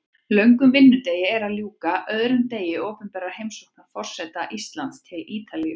Löngum vinnudegi er að ljúka, öðrum degi opinberrar heimsóknar forseta Íslands til Ítalíu.